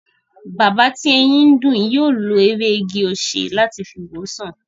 Bàbá tí eyín ń dùn, yóò lo ewé igi-osè láti fi wo sàn